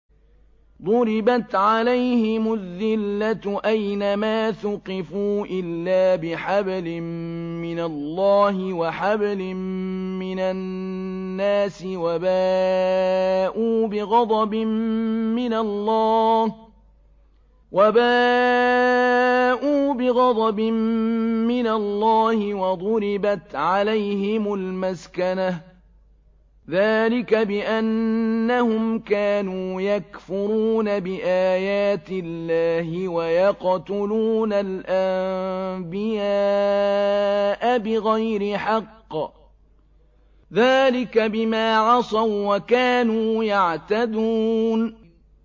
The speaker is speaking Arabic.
ضُرِبَتْ عَلَيْهِمُ الذِّلَّةُ أَيْنَ مَا ثُقِفُوا إِلَّا بِحَبْلٍ مِّنَ اللَّهِ وَحَبْلٍ مِّنَ النَّاسِ وَبَاءُوا بِغَضَبٍ مِّنَ اللَّهِ وَضُرِبَتْ عَلَيْهِمُ الْمَسْكَنَةُ ۚ ذَٰلِكَ بِأَنَّهُمْ كَانُوا يَكْفُرُونَ بِآيَاتِ اللَّهِ وَيَقْتُلُونَ الْأَنبِيَاءَ بِغَيْرِ حَقٍّ ۚ ذَٰلِكَ بِمَا عَصَوا وَّكَانُوا يَعْتَدُونَ